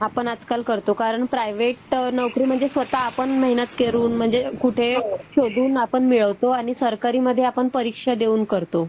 आपण आजकाल करतो कारण प्रायव्हेट नोकरी म्हणजे स्वतः आपण मेहनत करून म्हणजे कुठे शोधून आपण मिळवतो आणि सरकारी मध्ये आपण परीक्षा देऊन करतो.